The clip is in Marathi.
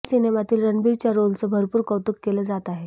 या सिनेमांतील रणबीरच्या रोलचं भरपूर कौतुक केलं जात आहे